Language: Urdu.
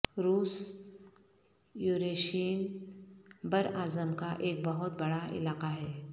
روس یوریشین براعظم کا ایک بہت بڑا علاقہ ہے